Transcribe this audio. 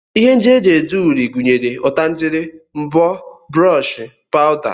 Ihe ndị e ji ede uri gụnyere ọtangele, mbọ, brọọshị, pawụda